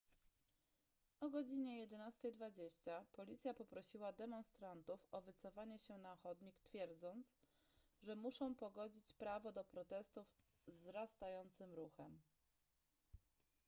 o godz 11:20 policja poprosiła demonstrantów o wycofanie się na chodnik twierdząc że muszą pogodzić prawo do protestów z wzrastającym ruchem